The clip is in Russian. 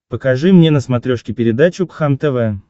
покажи мне на смотрешке передачу кхлм тв